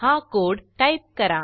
हा code type करा